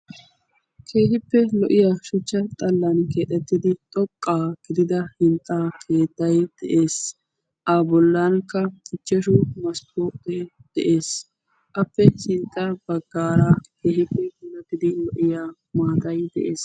keehippe lo'iya shuchcha xallan keexettidi xoqqaa gidida hinxxaa keettay de'ees a bollankka ichchashu masppote de'ees appe sinxxa baggaara keehippe hinattidi lo''iya maatay de'ees